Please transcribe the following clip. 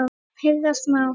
Heyra má